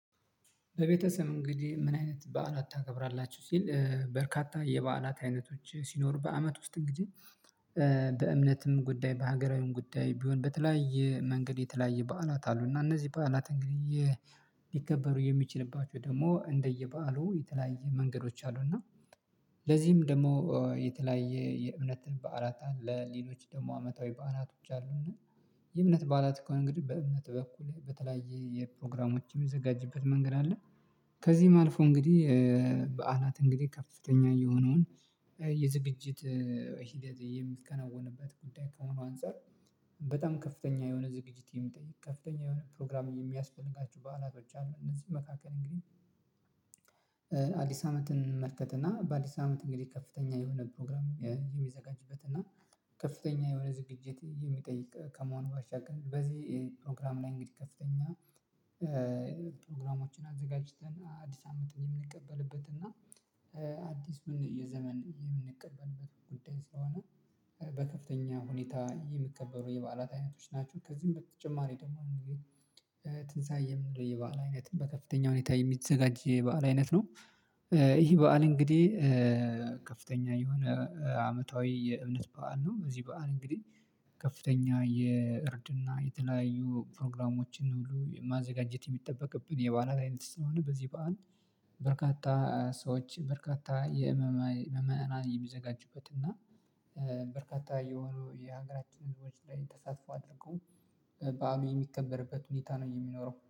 በቤተሰብ እንግዲህ ምን አይነት በዓላት ታከብራላችሁ? ሲል በርካታ የበዓላት አይነቶች ሲኖሩ በአመት ውስጥ እንግዲህ በእምነትም ጉዳይ በሀገራዊም ጉዳይ ቢሆን በተለያየ መንገድ የተለያየ በዓላት አሉ እና እነዚህ በዓላት እንግዲህ ሊከበሩ የሚችልባቸው ደግሞ እንደየበዓሉ የተለያየ መንገዶች አሉና ለዚህም ደግሞ የተለያየ የእምነት በዓላት አለ። ሌሎች ደግሞ አመታዊ በአናቶች አሉና የእምነት በዓላት ከሆነ እንግዲህ በእምነት በኩል በተለያየ የፕሮግራሞችም የሚዘጋጀበት መንገድ አለ። ከዚህም አልፎ እንግዲህ በዓላት እንግዲህ ከፍተኛ የሆነውን የዝግጅት ሂደት የሚከናወንበት ጉዳይ ከመሆኑ አንፃር በጣም ከፍተኛ የሆነ ዝግጅት የሚጠይቅ ከፍተኛ የሆነ ፕሮግራም የሚያስፈልጋቸው በዓላቶች አሉ። እነዚህ መካከል እንግዲህ አዲስ እንመልከትና በአዲስ አመት እንግዲህ ከፍተኛ የሆነ ፕሮግራም የሚዘጋጅበት እና ከፍተኛ የሆነ ዝግጅት የሚጠይቅ ከመሆኑ ባሻገር በዚህ ፕሮግራም ላይ እንግዲህ ከፍተኛ ፕሮግራሞችን አዘጋጅተን አዲስ አመትን የምንቀበልበት እና አዲስ ምን የዘመን የምንቀበልበት ጉዳይ ስለሆነ በከፍተኛ ሁኔታ የሚከበሩ የበዓላት አይነቶች ናቸው። ከዚህም በተጨማሪ ደግሞ እንግዲህ ትንሳኤ የምንለው የበአል አይነት በከፍተኛ ሁኔታ የሚዘጋጅ የበአል አይነት ነው። ይህ በዓል እንግዲህ ከፍተኛ የሆነ አመታዊ የእምነት በዓል ነው። እዚህ በዓል እንግዲህ ከፍተኛ የእርድና የተለያዩ ፕሮግራሞችን ሁሉ የማዘጋጀት የሚጠበቅብን የበዓላት አይነት ስለሆነ በዚህ በዓል በርካታ ሰዎች በርካታ የምእመናን የመዘጋጁበት እና በርካታ የሆኑ የሀገራችን ህዝቦች ላይ ተሳትፎ አድርጎ በዓሉ የሚከበርበት ሁኔታ ነው የሚኖረው